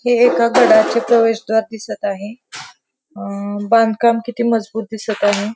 हे एका गडाचे प्रवेशद्वार दिसत आहे अ बांधकाम किती मजबूत दिसत आहे.